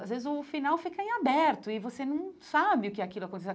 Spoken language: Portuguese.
Às vezes o final fica em aberto e você não sabe o que é aquilo acontecendo.